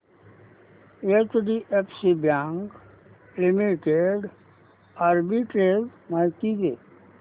HDFC bank limited arbitrage माहिती दे